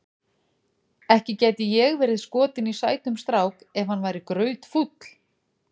Ekki gæti ég verið skotin í sætum strák ef hann væri grautfúll.